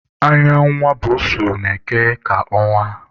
Anya nwa mba na-eke ka ọnwa